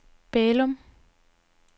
Bælum